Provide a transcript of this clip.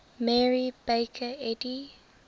mary baker eddy